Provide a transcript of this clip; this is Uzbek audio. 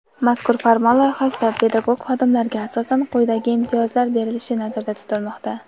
Mazkur farmon loyihasida pedagog xodimlarga asosan quyidagi imtiyozlar berilishi nazarda tutilmoqda:.